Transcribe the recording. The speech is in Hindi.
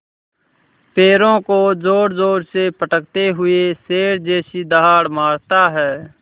पैरों को ज़ोरज़ोर से पटकते हुए शेर जैसी दहाड़ मारता है